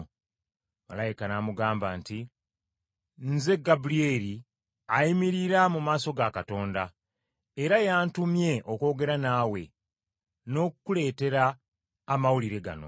Malayika n’amugamba nti, “Nze Gabulyeri ayimirira mu maaso ga Katonda, era y’antumye okwogera naawe n’okukuleetera amawulire gano.